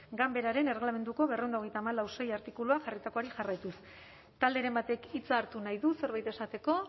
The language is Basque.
ganberaren erregelamenduko berrehun eta hogeita hamalau puntu sei artikuluak jarritakoari jarraituz talderen baten hitza hartu nahi du zerbait esateko